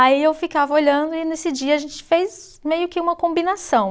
Aí eu ficava olhando e nesse dia a gente fez meio que uma combinação.